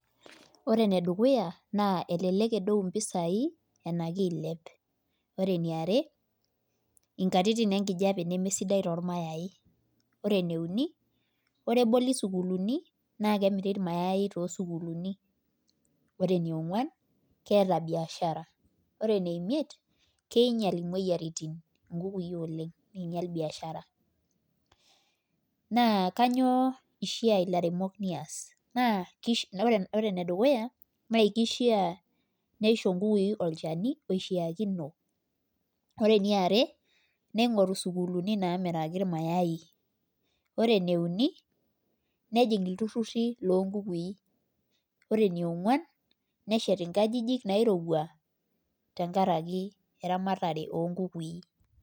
Ore ene dukuya naa elelek edou mpisai anashu eilep. ore eniare, nkatitin enkijiape, neme sidai, tolmayai. ore ene uni, ore entoki sukuulini, naa kemiri ilmayai too sukuulini. oree enionguan keeta biashara ore ene imiet keingial imoyiaritin oleng , neing'ial biashara. naa kainyioo ishaa ilairemok nias. naa ore ene dukuya naa kishia, nisho nkukui olchani oishiakino. ore eniare. ningoru sukuulini. naamiraki ilamayi. ore ene uni nejing iltururi loo bukui. ore enionguan neshetaki nkajijik naairowua. tenkaraki eramatare oo nkukui.